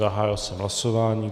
Zahájil jsem hlasování.